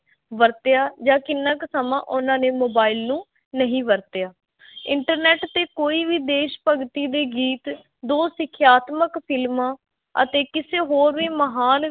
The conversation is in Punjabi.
ਵਰਤਿਆ ਜਾਂ ਕਿੰਨਾ ਕੁ ਸਮਾਂ ਉਹਨਾਂ ਨੇ mobile ਨੂੰ ਨਹੀਂ ਵਰਤਿਆ internet ਤੇ ਕੋਈ ਵੀ ਦੇਸ਼ ਭਗਤੀ ਦੇ ਗੀਤ, ਦੋ ਸਿੱਖਿਆਤਮਕ ਫ਼ਿਲਮਾਂ ਅਤੇ ਕਿਸੇ ਹੋਰ ਵੀ ਮਹਾਨ